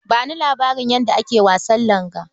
Ba ni labarin yadda ake wasan langa.